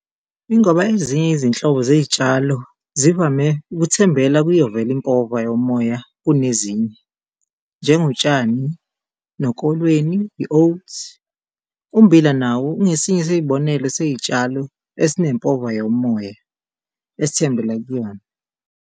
Ingoba ezinye izinhlobo zey'tshalo zivame ukuthembela kuyo vele impova yomoya kunezinye, njengotshani nokolweni, i-oats, ummbila nawo ungesinye sey'bonelo sezitshalo esinempova yomoya esithembele kuyona.